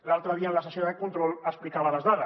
l’altre dia en la sessió de control explicava les dades